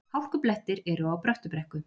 Hálkublettir eru á Bröttubrekku